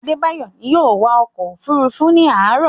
Adebayo ni yóò wa ọkọ̀-òfurufú ní àárọ̀.